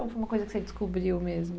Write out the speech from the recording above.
Ou foi uma coisa que você descobriu mesmo?